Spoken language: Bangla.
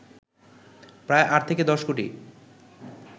প্রায় ৮ থেকে ১০ কোটি